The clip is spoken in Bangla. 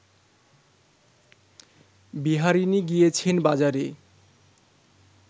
বিহারিণী গিয়েছেন বাজারে